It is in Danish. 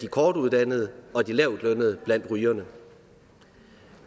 af kortuddannede og lavtlønnede blandt rygerne